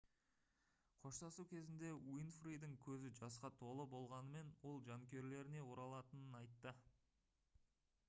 қоштасу кезінде уинфридің көзі жасқа толы болғанымен ол жанкүйерлеріне оралатынын айтты